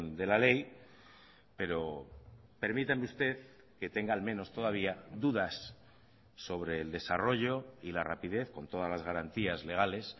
de la ley pero permítame usted que tenga al menos todavía dudas sobre el desarrollo y la rapidez con todas las garantías legales